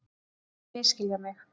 Ekki misskilja mig